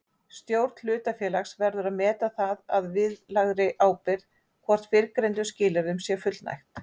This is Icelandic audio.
Stjórn hlutafélags verður að meta það að viðlagðri ábyrgð hvort fyrrgreindum skilyrðum sé fullnægt.